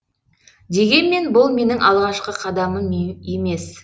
дегенмен бұл менің алғашқы қадамым емес